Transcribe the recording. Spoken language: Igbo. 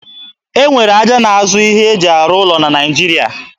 E nwere ahịa na-azụ ihe e ji arụ ụlọ na Naịjiria